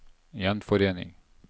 gjenforening